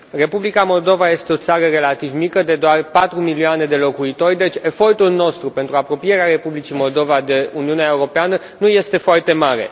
Republica Moldova este o țară relativ mică, de doar 4 milioane de locuitori, deci efortul nostru pentru apropierea Republicii Moldova de Uniunea Europeană nu este foarte mare.